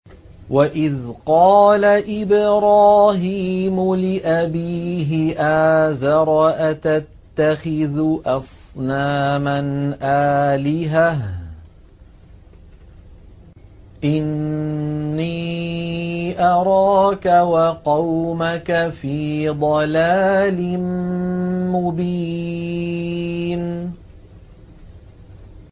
۞ وَإِذْ قَالَ إِبْرَاهِيمُ لِأَبِيهِ آزَرَ أَتَتَّخِذُ أَصْنَامًا آلِهَةً ۖ إِنِّي أَرَاكَ وَقَوْمَكَ فِي ضَلَالٍ مُّبِينٍ